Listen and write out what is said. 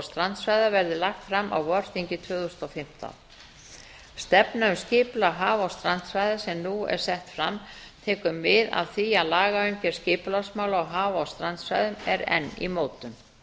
strandsvæða verði lagt fram á vorþingi tvö þúsund og fimmtán stefnu um skipulag haf og strandsvæða sem nú er sett fram tekur mið af því að lagaumgjörð skipulagsmála á haf og strandsvæðum er enn í mótun